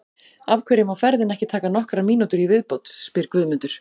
Af hverju má ferðin ekki taka nokkrar mínútur í viðbót? spyr Guðmundur.